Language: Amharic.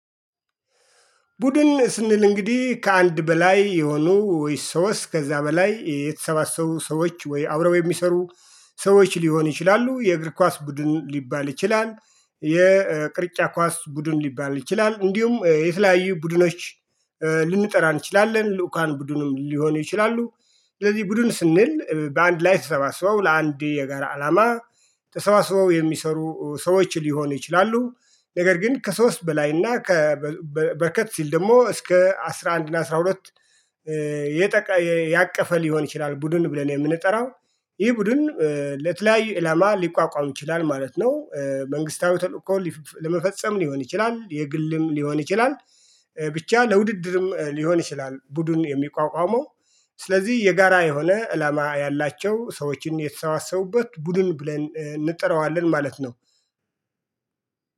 ቡድን ስንል እንግዲህ ከአንድ በላይ የሆኑ ወይ ሶስት ከዛ በላይ የተሰባሰቡ ሰዎች ወይ አብረው የሚሰሩ ሰዎች ሊሆኑ ይችላሉ የእግር ኳስ ቡድን ሊባል ይችላል። የቅርጫ ኳስ ቡድን ሊባል ይችላል እንዲሁም የተለያዩ ቡድኖች። ልንጠራ እንችላለን ልዑካን ቡድንም ሊሆን ይችላሉ። ስለዚህ ቡድን ስንል በአንድ ላይ ተሰባስበው ለአንድ የጋራ አላማ ተሰባስበው የሚሰሩ ሰዎች ሊሆኑ ይችላሉ። ነገር ግን ከሶስት በላይና በርከት ሲል ደግሞ እስከ አስራ አንድ እና አስራ ሁለት። ያቀፈ ሊሆን ይችላል ቡድን ብለን የምንጠራው። ይህ ቡድን ለተለያዩ አላማ ሊቋቋም ይችላል ማለት ነው። መንግስታዊ ተልእኮ ለመፈጸም ሊሆን ይችላል የግልም ሊሆን ይችላል። ብቻ ለውድድርም ሊሆን ይችላል ቡድን የሚቋቋመው። ስለዚህ የጋራ የሆነ አላማ ያላቸው ሰዎችም የተሰባሰቡበት ቡድን ብለን እንጠራዋለን ማለት ነው።